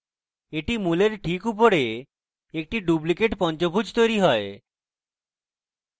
এখন মূলের ঠিক উপরে একটি duplicate পঞ্চভুজ তৈরী হয়